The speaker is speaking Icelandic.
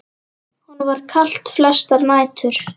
Honum var kalt flestar nætur.